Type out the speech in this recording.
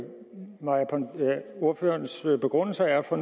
hvad ordførerens begrundelse er for